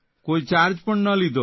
કોઇ ચાર્જ પણ ન લીધો